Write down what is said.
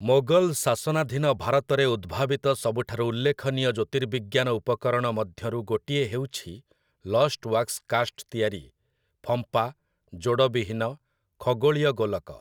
ମୋଗଲ ଶାସନାଧୀନ ଭାରତରେ ଉଦ୍ଭାବିତ ସବୁଠାରୁ ଉଲ୍ଲେଖନୀୟ ଜ୍ୟୋତିର୍ବିଜ୍ଞାନ ଉପକରଣ ମଧ୍ୟରୁ ଗୋଟିଏ ହେଉଛି ଲଷ୍ଟୱାକ୍ସ କାଷ୍ଟ ତିଆରି, ଫମ୍ପା, ଯୋଡ଼ବିହୀନ, ଖଗୋଳୀୟ ଗୋଲକ ।